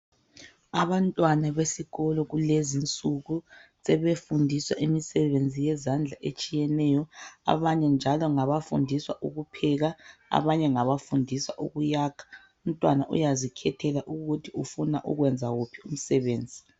Abantwana besikolo kulezinsuku sebefundiswa imisebenzi eminengi yezandla abanye ngabafundiswa ukupheka abanye njalo ngabafundiswa ukuyakha ,sebezikhethela ukuthi bafuna ukwenza uphi sebekhulile.